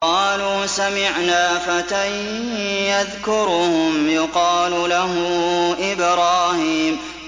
قَالُوا سَمِعْنَا فَتًى يَذْكُرُهُمْ يُقَالُ لَهُ إِبْرَاهِيمُ